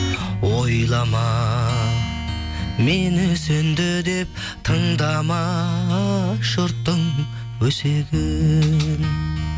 ойлама мені сөнді деп тыңдама жұрттың өсегін